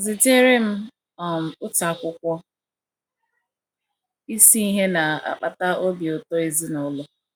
Zitere m um otu akwụkwọ Isi Ihe Na - akpata Obi Ụtọ Ezinụlọ.